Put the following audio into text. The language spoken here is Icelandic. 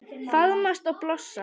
Faðmast og blossa.